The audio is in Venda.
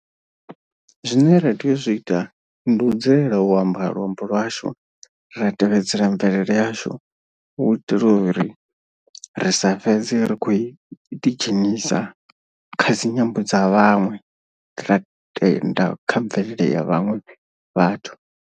Zwine ra tea u zwi ita ndi u dzulela u amba luambo lwashu ra tevhedzela mvelele yashu. U itela uri ri sa fhedze ri khou ḓidzhenisa kha dzi nyambo dza vhaṅwe ra tenda kha mvelele ya vhaṅwe vhathu.